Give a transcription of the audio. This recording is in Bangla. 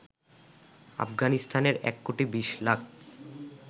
আফগানিস্তানের ১ কোটি ২০ লাখ